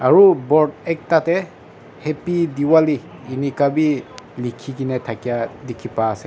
aru board ekta te happy diwali eneka bi likhi kena thakia bi dikhi paa ase.